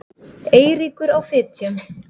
Eiríkur á Fitjum.